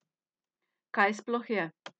Kaj sploh je?